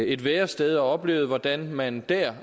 et værested og oplevede hvordan man der